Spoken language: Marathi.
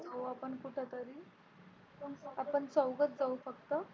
जाऊ आपण कुठेतरी आपण चौघच जाऊ फक्त.